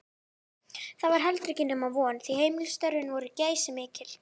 Það var heldur ekki nema von, því heimilisstörfin voru geysimikil.